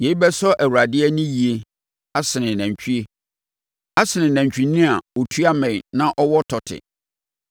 Yei bɛsɔ Awurade ani yie asene nantwie, asene nantwinini a ɔtua mmɛn na ɔwɔ tɔte.